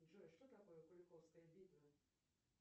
джой что такое куликовская битва